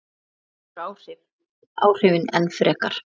Það eykur áhrifin enn frekar.